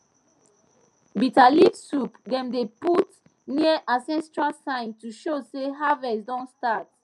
bitter leaf soup dem dey put near ancestral sign to show say harvest don start